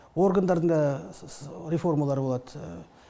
органдардың да реформалары болады